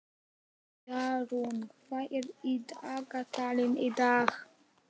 Jarún, hvað er í dagatalinu í dag?